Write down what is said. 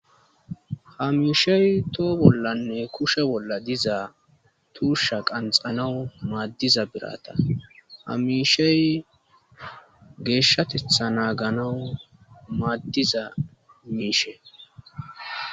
Hamiishey too bollanne kushe bolla dizaa tuusha qanxanawu maaddiza birata hamishey geeshshatetha naaganawu maaddiza miishe.